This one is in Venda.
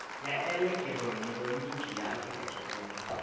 ya elekihironiki ya afurika tshipembe